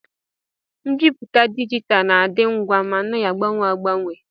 Mbipụta dijitalụ na-adị ngwa ma na-agbanwe agbanwe.